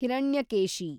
Hiranyakeshi